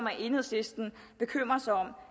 at enhedslisten bekymrer sig om